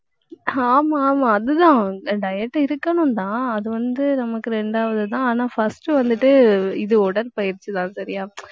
ஆமா ஆமா அதுதான் diet இருக்கணும்தான். அது வந்து நமக்கு இரண்டாவதுதான். ஆனா first வந்துட்டு இது உடற்பயிற்சிதான் சரியா